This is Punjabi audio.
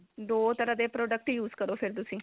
ਦੋ ਤਰ੍ਹਾਂ ਦੇ product use ਕਰੋ ਫਿਰ ਤੁਸੀਂ